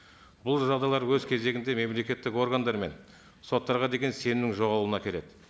бұл жағдайлар өз кезегінде мемлекеттік органдар мен соттарға деген сенімнің жоғалуына әкеледі